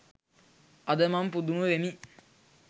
අද මම පුදුම වෙමි